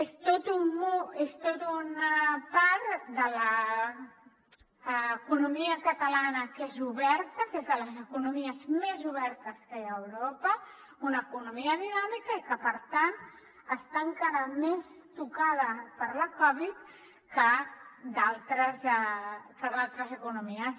és tota una part de l’economia catalana que és oberta que és de les economies més obertes que hi ha a europa una economia dinàmica i que per tant està enca ra més tocada per la covid que d’altres economies